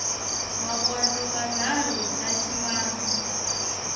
makondlo manharhu na ximanga